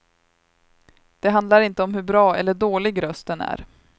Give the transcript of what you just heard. Det handlar inte om hur bra eller dålig rösten är.